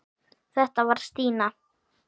Þetta var Stína.